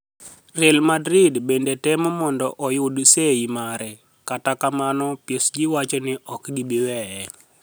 Real Madrid benide temo monido oyud sei mare, kata kamano, PSG wacho nii ok gibi weye.